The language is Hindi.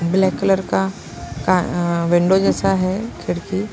ब्लैक कलर का का विंडो जैसा है खिड़की--